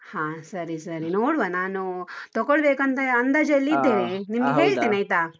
ಹಾ ಸರಿ ಸರಿ, ನೋಡುವ ನಾನು ತಕೊಳ್ಬೇಕು ಅಂತ ಅಂದಾಜಲ್ಲಿ ಇದ್ದೇನೆ, .